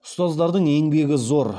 ұстаздардың еңбегі зор